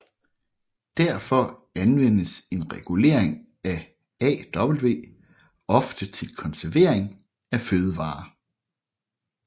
Derfor anvendes en regulering af aw ofte til konservering af fødevarer